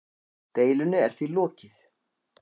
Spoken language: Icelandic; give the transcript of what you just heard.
Deilunni er því lokið.